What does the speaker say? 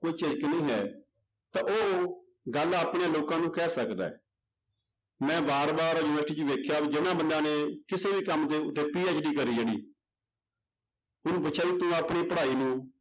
ਕੋਈ ਝਿਜਕ ਨਹੀਂ ਹੈ ਤਾਂ ਉਹ ਗੱਲ ਆਪਣੇ ਲੋਕਾਂ ਨੂੰ ਕਹਿ ਸਕਦਾ ਹੈ ਮੈਂ ਵਾਰ ਵਾਰ university ਚ ਵੇਖਿਆ ਵੀ ਜਿਹਨਾਂ ਬੰਦਿਆਂ ਨੇ ਕਿਸੇ ਵੀ ਕੰਮ ਦੇ ਉੱਤੇ PhD ਕਰੀ ਜਿਹੜੀ ਉਹਨੂੰ ਪੁੱਛਿਆ ਵੀ ਤੂੰ ਆਪਣੀ ਪੜ੍ਹਾਈ ਨੂੰ